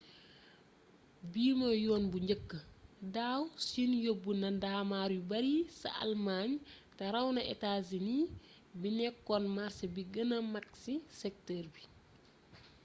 bii mooy yoon bu njëkk daaw siin yobbu na ndaamaar yu bari ca almaañ te ràw na etaa sini bi nekkoon màrsé bi gëna mag ci sektër bi